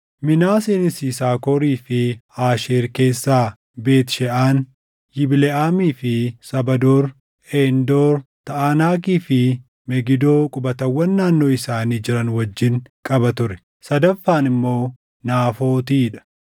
Minaaseenis Yisaakorii fi Aasheer keessaa Beet Sheʼaan, Yibleʼaamii fi saba Door, Eendoor, Taʼanaakii fi Megidoo qubatawwan naannoo isaanii jiran wajjin qaba ture; sadaffaan immoo Naafootii dha.